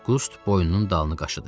Qust boynunun dalını qaşıdı.